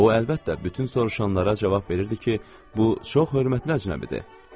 O əlbəttə bütün soruşanlara cavab verirdi ki, bu çox hörmətli əcnəbidir.